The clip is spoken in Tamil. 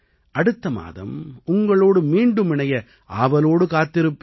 அடுத்த மாதம் உங்களோடு மீண்டும் இணைய ஆவலோடு காத்திருப்பேன்